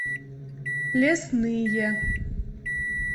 лесные